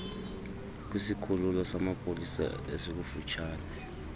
kwisikhululo samapolisa esikufutshane